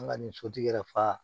An ka nin sotigi yɛrɛ faa